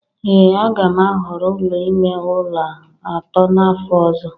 ee a ga m ahọrọ ụlọ ime ụlọ atọ n'afọ ọzọ